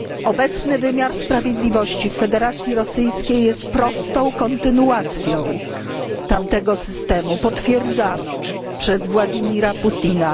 Obecny wymiar sprawiedliwości w Federacji Rosyjskiej jest prostą kontynuacją tamtego systemu, potwierdzaną przez Władimira Putina.